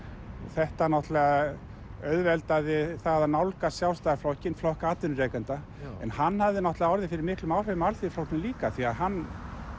þetta náttúrulega auðveldaði það að nálgast Sjálfstæðisflokkinn flokk atvinnurekenda en hann hafði náttúrulega orðið fyrir miklum áhrifum af Alþýðuflokknum líka því að hann